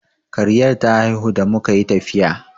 Kariyar ta haihu da muka yi tafiya.